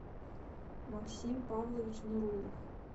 максим павлович нурулов